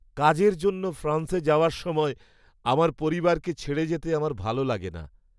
কাজের জন্য ফ্রান্সে যাওয়ার সময় আমার পরিবারকে ছেড়ে যেতে আমার ভালো লাগে না।